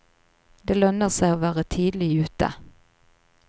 Det lønner seg å være tidlig ute.